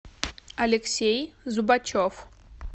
алексей зубачев